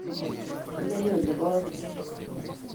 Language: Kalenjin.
Imenye olebo ano?